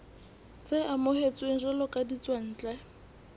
tse amohetsweng jwalo ka ditswantle